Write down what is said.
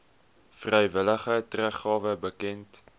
vrywillige teruggawe bekend